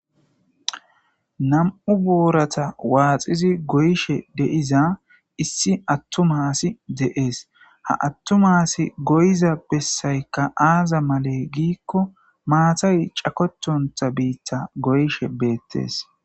Nam7u booratha waaxizi goyishe de7iza issi aththuma asi de7ees; ha aththuma asi goyiza bessaykka aaza malee giikko maathay cakothonththa biiththa goyishe beeththees.